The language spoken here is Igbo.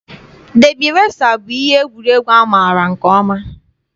Dabi resa bụ ihe egwuregwu a maara nke ọma.